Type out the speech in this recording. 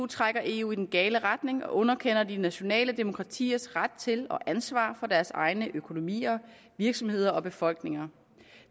trækker eu i den gale retning og underkender de nationale demokratiers ret til og ansvar for deres egne økonomier virksomheder og befolkninger